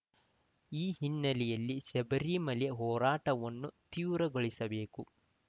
ಈ ಹಿನ್ನೆಲೆಯಲ್ಲಿ ಶಬರಿಮಲೆ ಹೋರಾಟವನ್ನು ತೀವ್ರಗೊಳಿಸಬೇಕು